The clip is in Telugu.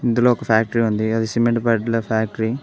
ఇందులో ఒక ఫ్యాక్టరీ ఉంది అది సిమెంట్ బడ్ల ఫ్యాక్టరీ .